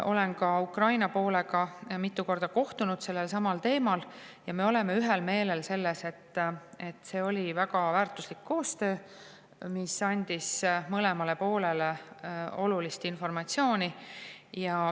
Olen ka Ukraina poolega mitu korda kohtunud sellel teemal ja me oleme ühel meelel, et see oli väga väärtuslik koostöö, mis andis mõlemale poolele olulist informatsiooni.